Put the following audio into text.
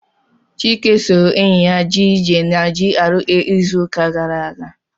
Chike soro enyi ya jee ije na GRA izu uka gara aga.